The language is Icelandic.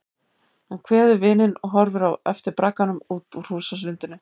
Hann kveður vininn og horfir á eftir bragganum út úr húsasundinu.